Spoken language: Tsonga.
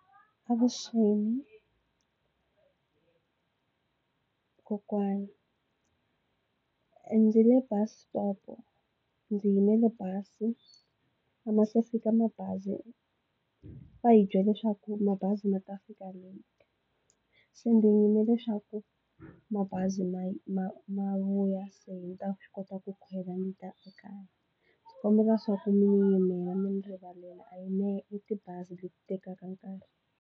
Avuxeni kokwani ndzi le bus stop ndzi yimele bazi a ma se fika mabazi va hi byele swaku mabazi ma ta fika late se ndzi yimele swaku mabazi ma ma ma vuya se ndzi ta swi kota ku khwela ndzi ta ekaya ndzi kombela swaku mi ndzi yimela mi ndzi rivalela a hi mehe i tibazi leti tekaka nkarhi.